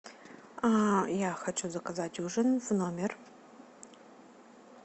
а я хочу заказать ужин в номер